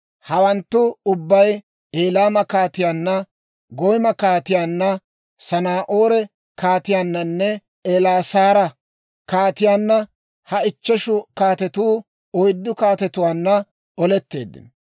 Hawanttu ubbay Elaama kaatiyaanna, Goyma kaatiyaanna, Sanaa'oore kaatiyaannanne Elaasaara kaatiyaanna (ha ichcheshu kaatetu oyddu kaatetuwaanna) oletteeddino.